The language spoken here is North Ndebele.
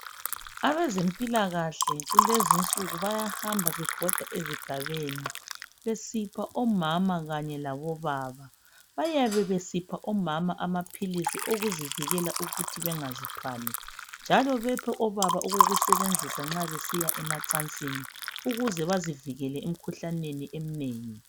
Abezempilakahle kulezinsuku bayahamba bebhoda ezigabeni besipha omama kanye labobaba. Bayabe besipha omama amaphilisi okuzivikela ukuthi bengazithwali njalo besipha obaba okokusebenzisa nxa besiya emacansini ukuze bazivikele imikhuhlaneni eminengi.